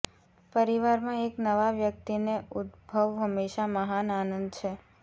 પરિવારમાં એક નવા વ્યક્તિને ઉદભવ હંમેશા મહાન આનંદ છે